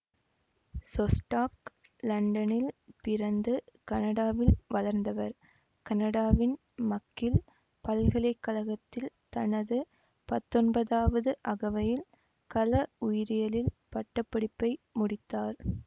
சொஸ்டாக் லண்டனில் பிறந்து கனடாவில் வளர்ந்தவர் கனடாவின் மக்கில் பல்கலை கழகத்தில் தனது பத்தொன்பதாவது அகவையில் கல உயிரியலில் பட்ட படிப்பை முடித்தார்